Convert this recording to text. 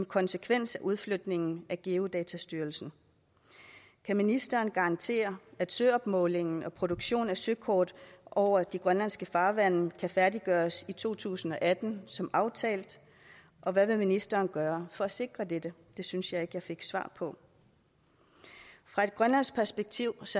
konsekvens af udflytningen af geodatastyrelsen kan ministeren garantere at søopmålingen og produktionen af søkort over de grønlandske farvande kan færdiggøres i to tusind og atten som aftalt og hvad vil ministeren gøre for at sikre dette det synes jeg ikke jeg fik svar på fra et grønlandsk perspektiv